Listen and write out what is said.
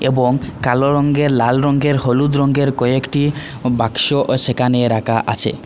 এবং কালো রঙ্গের লাল রঙয়ের হলুদ রঙের কয়েকটি বাক্সও সেখানে রাখা আছে।